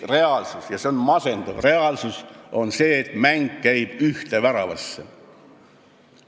Reaalsus – ja see on masendav – on see, et mäng käib ühte väravasse.